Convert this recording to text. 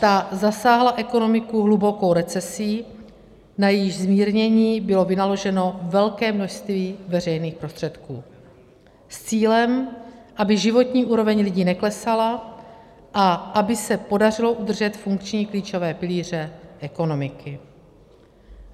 Ta zasáhla ekonomiku hlubokou recesí, na jejíž zmírnění bylo vynaloženo velké množství veřejných prostředků s cílem, aby životní úroveň lidí neklesala a aby se podařilo udržet funkční klíčové pilíře ekonomiky.